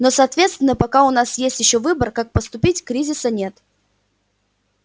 но соответственно пока у нас есть ещё выбор как поступить кризиса нет